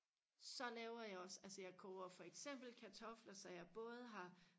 så laver jeg også altså jeg koger for eksempel kartofler så jeg både har